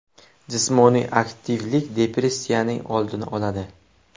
Jismoniy aktivlik depressiyaning oldini oladi.